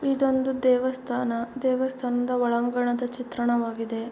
ಇದೊಂದು ದೇವಸ್ಥಾನ ದೇವಸ್ಥಾನದ ಒಳಾಂಗಣದ ಚಿತ್ರಣವಾಗಿದೆ.